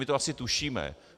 My to jenom tušíme.